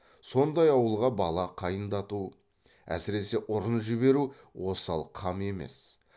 сондай ауылға бала қайындату әсіресе ұрын жіберу осал қам емес